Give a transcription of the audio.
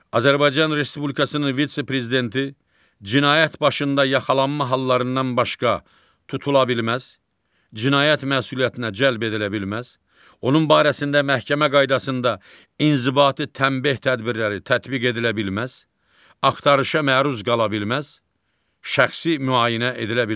Azərbaycan Respublikasının vitse-prezidenti cinayət başında yaxalanma hallarından başqa tutula bilməz, cinayət məsuliyyətinə cəlb edilə bilməz, onun barəsində məhkəmə qaydasında inzibati tənbeh tədbirləri tətbiq edilə bilməz, axtarışa məruz qala bilməz, şəxsi müayinə edilə bilməz.